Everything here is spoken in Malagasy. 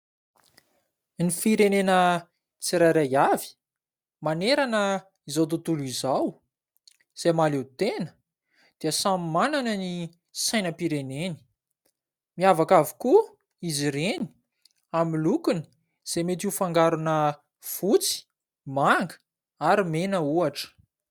Ny firenena tsirairay avy manerana izao tontolo izao izay mahaleo tena dia samy manana ny sainam-pireneny. Miavaka avokoa izy ireny amin'ny lokony izay metỳ ho fangarona fotsy, manga, ary mena ohatra.